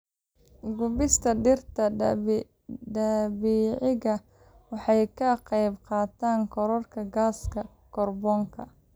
Gubista dhirta dabiiciga ah waxay ka qaybqaadataa kororka gaaska kaarboonka.